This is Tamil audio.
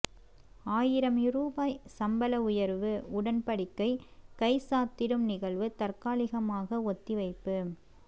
ஆயிரம் ரூபாய் சம்பள உயர்வு உடன்படிக்கை கைச்சாத்திடும் நிகழ்வு தற்காலிகமாக ஒத்திவைப்பு